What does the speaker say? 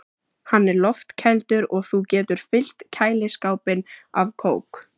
Hann er loftkældur og þú getur fyllt kæliskápinn af kók.